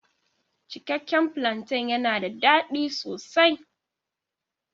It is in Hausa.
Cikakke plantain yana da daɗi sosai.